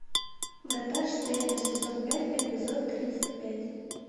врата штейна сезон пять эпизод тридцать пять